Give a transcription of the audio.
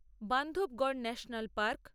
Bandhavgarh national park